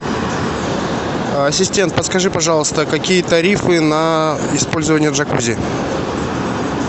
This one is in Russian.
ассистент подскажи пожалуйста какие тарифы на использование джакузи